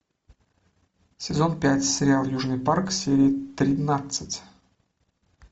сезон пять сериал южный парк серия тринадцать